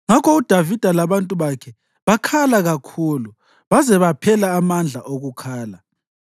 Ngakho uDavida labantu bakhe bakhala kakhulu baze baphela amandla okukhala.